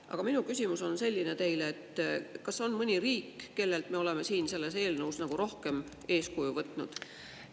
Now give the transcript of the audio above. Aga minu küsimus on selline teile: kas on mõni riik, kellelt me oleme siin selles eelnõus nagu rohkem eeskuju võtnud?